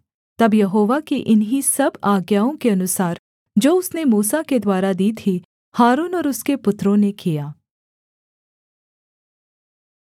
तब यहोवा की इन्हीं सब आज्ञाओं के अनुसार जो उसने मूसा के द्वारा दी थीं हारून और उसके पुत्रों ने किया